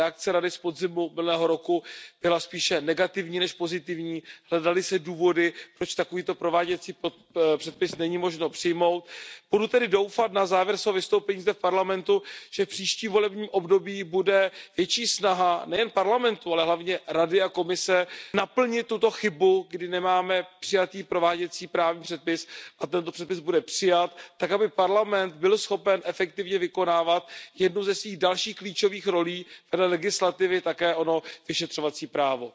Reakce Rady z podzimu minulého roku byla spíše negativní než pozitivní, hledaly se důvody, proč takovýto prováděcí předpis není možno přijmout. Budu tedy doufat, na závěr svého vystoupení zde v Evropském parlamentu, že v příštím volebním období bude větší snaha nejen Evropského parlamentu, ale hlavně Rady a Komise naplnit tuto chybu, kdy nemáme přijatý prováděcí právní předpis, a tento předpis bude přijat tak, aby Evropský parlament byl schopen efektivně vykonávat jednu ze svých dalších klíčových rolí vedle legislativy, a to ono vyšetřovací právo.